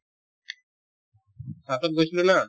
south ত গৈছিলো না